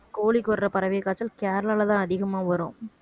கோழிக்கு வர்ற பறவை காய்ச்சல் கேரளாலதான் அதிகமா வரும்